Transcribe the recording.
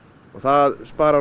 það sparar